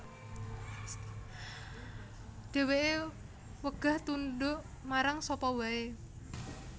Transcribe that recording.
Dheweke wegah tunduk marang sapa wae